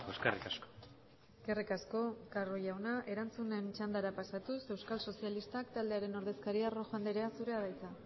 eskerrik asko eskerrik asko carro jauna erantzunen txandara pasatuz euskal sozialistak taldearen ordezkaria rojo andrea zurea da hitza